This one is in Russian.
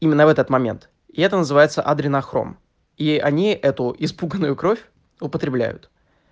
именно в этот момент и это называется адренохром и они эту испуганную кровь употребляют